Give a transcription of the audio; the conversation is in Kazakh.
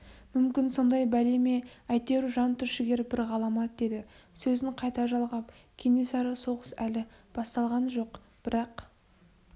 мүмкін сондай бәле ме әйтеуір жантүршігер бір ғаламат деді сөзін қайта жалғап кенесары соғыс әлі басталған жоқ бірақ